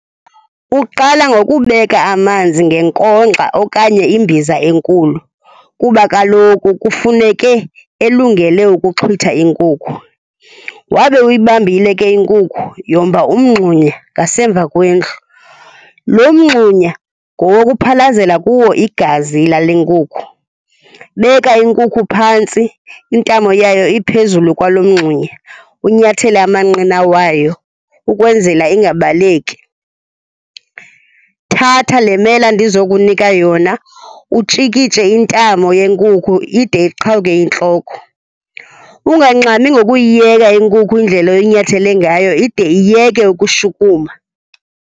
Uqala ngokubeka amanzi ngenkonkxa okanye imbiza enkulu kuba kaloku kufuneke elungele ukuxhwitha inkukhu. Wabe uyibambile ke inkukhu, yomba umngxunya ngasemva kwendlu. Lo mngxunya ngowokuphalazela kuwo igazi lale nkukhu. Beka inkukhu phantsi, intamo yayo iphezulu kwalo mngxunya, unyathele amanqina wayo ukwenzela ingabaleki. Thatha le mela ndizokunika yona utshikitshe intamo yenkukhu ide iqhawuke intloko. Ungangxami ngokuyiyeka inkukhu indlela oyinyathele ngayo ide iyeke ukushukuma.